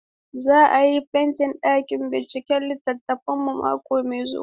Za a yi fentin ɗakin binciken halittunmu mako mai zuwa.